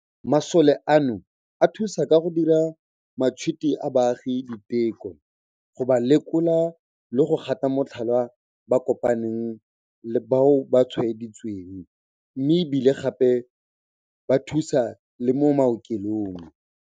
Masole ano a thusa ka go dira matšhwiti a baagi diteko, go ba lekola le go gata motlhala bao ba kopaneng le bao ba tshwaeditsweng, mme e bile gape ba thusa le mo maokelong.